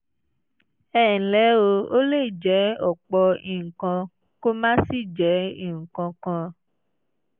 ẹ ǹlẹ́ o ó lè jẹ́ ọ̀pọ̀ nǹkan kó má sì jẹ́ nǹkan kan